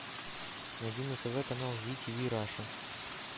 найди на тв канал зи тиви раша